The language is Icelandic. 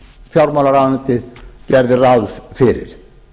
fjármálaráðuneytið gerði ráð fyrir